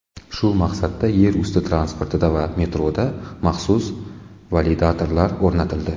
Shu maqsadda yerusti transportida va metroda maxsus validatorlar o‘rnatildi.